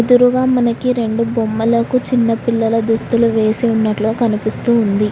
ఎదురుగ మనకి రెండు బొమ్మలకు చిన్న పిల్లల దుస్తులు వేసి ఉన్నట్లుగా కనిపిస్తూ ఉంది.